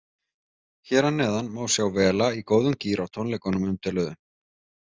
Hér að neðan má sjá Vela í góðum gír á tónleikunum umtöluðu.